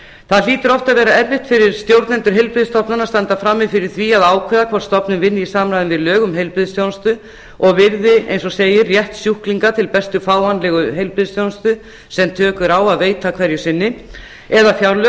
það hlýtur oft að vera erfitt fyrir stjórnendur heilbrigðisstofnana að standa frammi fyrir því að ákveða hvort stofnun vinni í samræmi við lög um heilbrigðisþjónustu og virði eins og segir rétt sjúklinga til bestu fáanlegu heilbrigðisþjónustu sem tök eru á að veita hverju sinni eða fjárlög